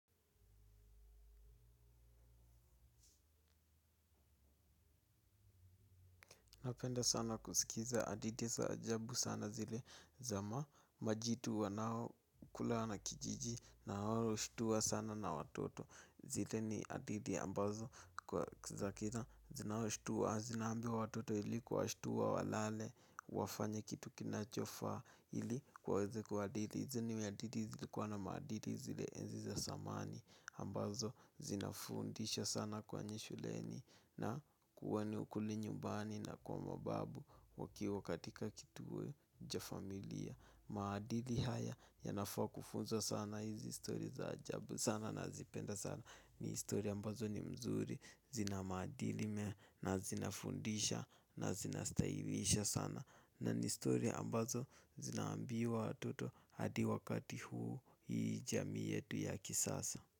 Napenda sana kusikiza aditi za ajabu sana zile za majitu wanao kula wanakijiji na hao ushtuwa sana na watoto. Zile ni adithi ambazo za kina zinaoshtuwa zinaaga watoto ili kuwashtuwa walale wafanya kitu kinachofaa ili waweze kwa adithi. Hizi ni aditi zilikuwa na maadili zile enzi za samani ambazo zinafundisha sana kwenye shuleni na kuwa ni ukweli nyumbani na kwa mababu. Wakiwa katika kituwe cha familia. Maadili haya yanafaa kufunzwa sana hizi stori za ajabu sana nazipenda sana. Ni stori ambazo ni mzuri. Zina maadili na zinafundisha na zinastailisha sana na ni story ambazo zinaambiwa watoto hadi wakati huu hii jamii yetu ya kisasa.